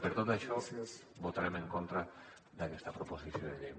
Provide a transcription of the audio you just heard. per tot això votarem en contra d’aquesta proposició de llei